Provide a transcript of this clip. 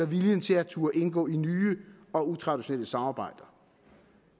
viljen til at turde indgå i nye og utraditionelle samarbejder